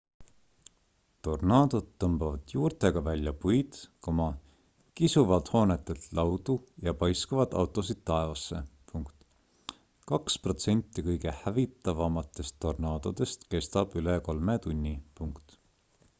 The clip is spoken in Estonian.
tornaadod tõmbavad juurtega välja puid kisuvad hoonetelt laudu ja paiskavad autosid taevasse kaks protsenti kõige hävitavamatest tornaadodest kestab üle kolme tunni